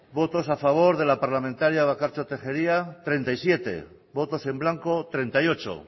votos a favor de la parlamentaria bakartxo tejería treinta y siete votos en blanco treinta y ocho